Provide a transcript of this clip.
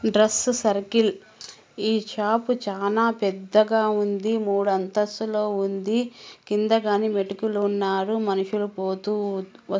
dress circle ఈ shop చానా పెద్దగా ఉంది మూడు అంతస్తులో ఉంది కిందగానీ మెటికెలు ఉన్నారు మనుషులు పోతూ వ--